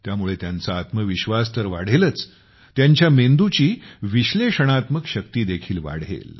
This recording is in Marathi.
त्यामुळे त्यांचा आत्मविश्वास तर वाढेलच त्यांच्या मेंदूची विश्लेषणात्मक शक्ती देखील वाढेल